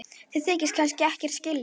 Þið þykist kannski ekkert skilja?